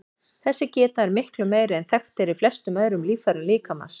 Þessi geta er miklu meiri en þekkt er í flestum öðrum líffærum líkamans.